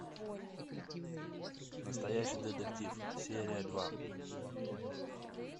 настоящий детектив серия два